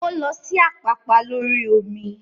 O lọ sí Àpápá lórí omi